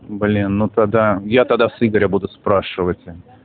блин ну тогда я тогда с игоря буду спрашивать